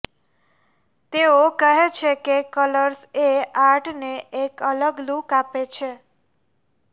તેઓ કહે છે કે કલર્સ એ આર્ટને એક અલગ લૂક આપે છે